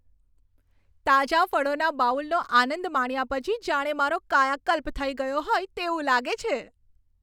તાજા ફળોના બાઉલનો આનંદ માણ્યા પછી જાણે મારો કાયાકલ્પ થઈ ગયો હોય તેવું લાગે છે.